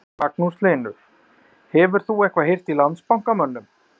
Magnús Hlynur: Hefur þú eitthvað heyrt í Landsbankamönnum?